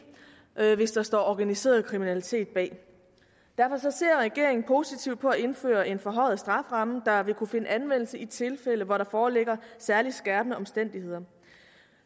hvis der står organiseret kriminalitet bag derfor ser regeringen positivt på at indføre en forhøjet strafferamme der vil kunne finde anvendelse i tilfælde hvor der foreligger særlig skærpende omstændigheder